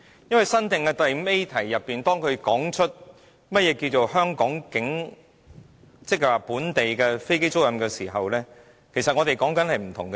因為，在新訂的第 5A 條中，當它提出何謂本地飛機租賃時，其實我們是在說不同的事情。